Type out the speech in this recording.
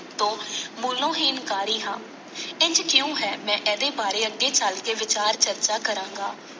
ਤੋਂ ਮੂਲੋਂ ਹੀ ਇਨਕਾਰੀ ਹਾਂ। ਇੰਝ ਕਿਉਂ ਹੈ ਮੈਂ ਇਹਦੇ ਬਾਰੇ ਅੱਗੇ ਚੱਲ ਕੇ ਵਿਚਾਰ ਚਰਚਾ ਕਰਾਂਗਾ।